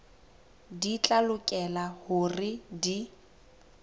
di tla lokela hore di